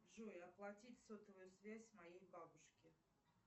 джой оплатить сотовую связь моей бабушки